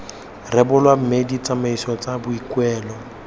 rebolwa mme ditsamaiso tsa boikuelo